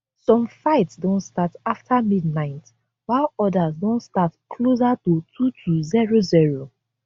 some fights don start afta midnight while odas don start closer to 2200